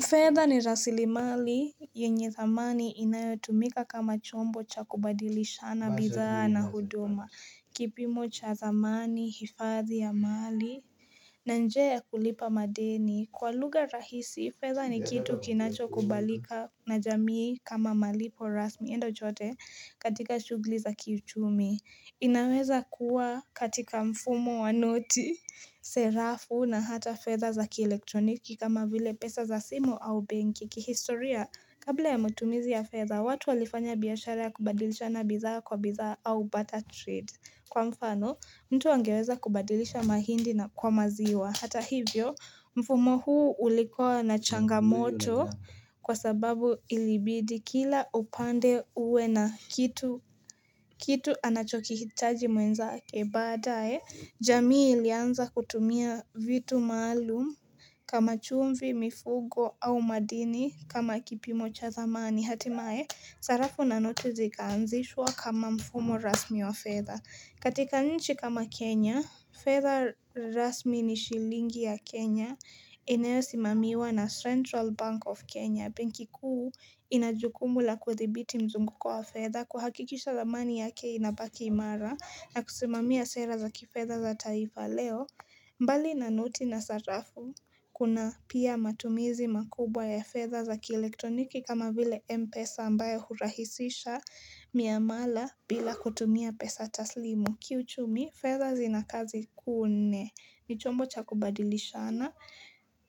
Feather ni rasili mali, yenye zamani inayotumika kama chombo cha kubadilishana, bidhaa na hudoma, kipimo cha zamani, hifadhi ya mali na njia ya kulipa madeni, kwa luga rahisi, feather ni kitu kinacho kubalika na jamii kama malipo rasmi enda uchote katika shugli za kichumi inaweza kuwa katika mfumo wa noti, serafu na hata feather zaki elektroniki kama vile pesa za simu au banki kihistoria, kabla ya mutumizi ya feather, watu walifanya biyashara kubadilisha na bizaha kwa bizaha au butter trade Kwa mfano, mtu angeweza kubadilisha mahindi na kwa maziwa Hata hivyo, mfumo huu ulikuwa na changamoto kwa sababu ilibidi kila upande uwe na kitu anachokihitaji mwenzake badae. Jamii ilianza kutumia vitu maalum kama chumvi mifugo au madini kama kipimo chathamani. Hatimae, sarafu na noti zikaanzishwa kama mfumo rasmi wa feather. Katika nchi kama Kenya, feather rasmi ni shilingi ya Kenya ineosimamiwa na Central Bank of Kenya. Benki kuu inajukumu la kuthibiti mzunguko wa feather kuhakikisha zamani ya kei inabakimara na kusimami ya sera zaki feather za taifa leo. Mbali na noti na sarafu, kuna pia matumizi makubwa ya feather za kielektroniki kama vile M-pesa ambayo hurahisisha miamala bila kutumia pesa taslimu. Kiuchumi, feather zina kazi kuu nne. Ni chombo cha kubadilishana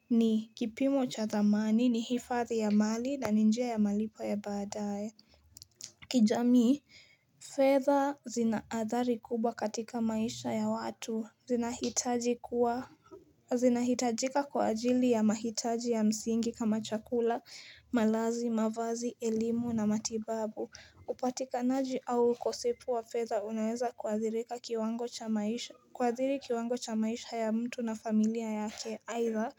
ni kipimo cha dhmani ni hifathi ya mali na ni njia ya malipo ya badae. Kijami, feather zinaathari kubwa katika maisha ya watu. Zinahitaji kuwa zinahitajika kwa ajili ya mahitaji ya msingi kama chakula, malazi, mavazi, elimu na matibabu upatikanaji au ukosefu wa feather unaweza kuadhiri kiwango cha maisha ya mtu na familia yake either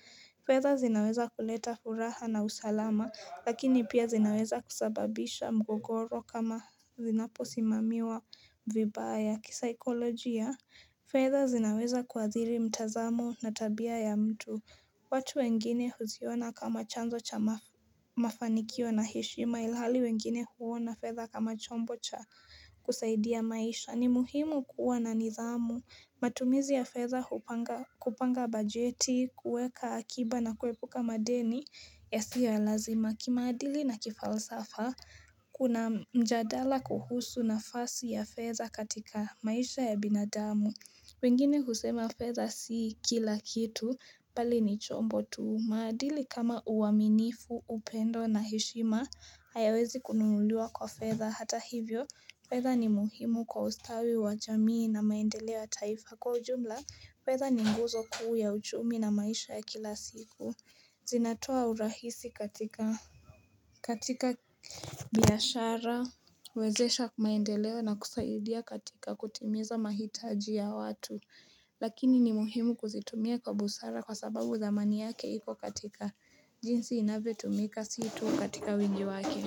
feather zinaweza kuleta furaha na usalama lakini pia zinaweza kusababisha mgogoro kama zinaposimamiwa vibaya kisaikolojia fedha zinaweza kuadhiri mtazamu na tabia ya mtu. Watu wengine huziona kama chanzo cha mafanikio na heshima ilhali wengine huona fedh kama chombo cha kusaidia maisha. Ni muhimu kuwa na nidh amu. Matumizi ya fedha kupanga bajeti, kuweka akiba na kuepuka madeni yasiyo ya lazima. Kimaadili na kifalsafa, kuna mjadala kuhusu nafasi ya feather katika maisha ya binadamu. Wengine kusema feather si kila kitu, pali ni chombo tu. Maadili kama uaminifu, upendo na heshima, hayawezi kununuliwa kwa feather. Hata hivyo, feather ni muhimu kwa ustawi wa jamii na maendelewa taifa. Kwa ujumla, feather ni nguzo kuu ya uchumi na maisha ya kila siku. Zinatoa urahisi katika katika biashara wezesha maendelea na kusaidia katika kutimiza mahitaji ya watu lakini ni muhimu kuzitumia kwa busara kwa sababu dhamani yake iko katika jinsi inavyotumika si tu katika wingi waki.